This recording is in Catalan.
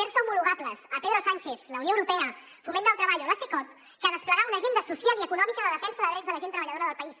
fer se homologables a pedro sánchez la unió europea foment del treball o la cecot que desplegar una agenda social i econòmica de defensa de drets de la gent treballadora del país